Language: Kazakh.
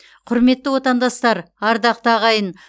құрметті отандастар ардақты ағайын